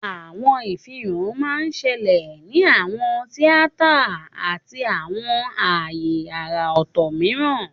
Àwọn àfihàn máa ń ṣẹlẹ̀ ní àwọn tíátà àti àwọn ààyè àrà ọ̀tọ̀ mìíràn.